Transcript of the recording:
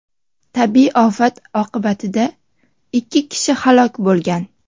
Tabiiy ofat oqibatida ikki kishi halok bo‘lgan.